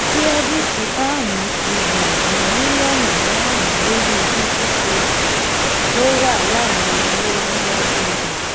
kírẹdìtì páàmù ti gba ju mílíọnù márùnún lórí google play store ó wà lára owó yíyá tó ga